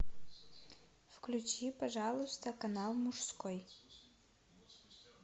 включи пожалуйста канал мужской